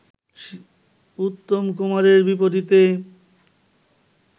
উত্তম কুমারের বিপরীতে